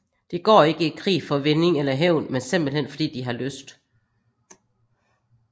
De går ikke i krig for vinding eller hævn men simpelthen fordi de har lyst